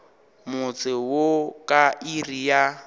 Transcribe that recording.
motse wo ka iri ya